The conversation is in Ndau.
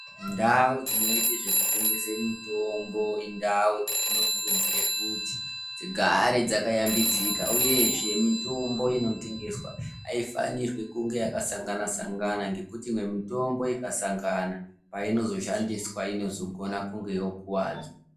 Ndau dzinoite zvekutengese mitombo indau dzatinokurudzira kuti dzigare dzakayambidzika, uyezve mitombo inotengeswa haifanirwi kunga yakasangana-sangana. Ngekuti imwe mitombo ikasangana painozoshandiswa inozogona kunge yokuwadza.